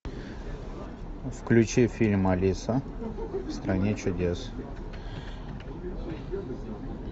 включи фильм алиса в стране чудес